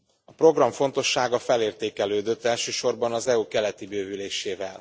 A program fontossága felértékelődött, elsősorban az EU keleti bővülésével.